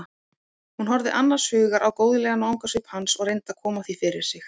Hún horfði annars hugar á góðlegan vangasvip hans og reyndi að koma því fyrir sig.